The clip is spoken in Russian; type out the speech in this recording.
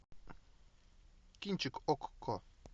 кинчик окко